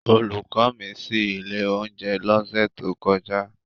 Olùkọ́ mi ṣí ilé oúnjẹ lọ́sẹ̀ tó kọjá.